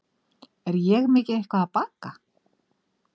Er ég mikið eitthvað að baka?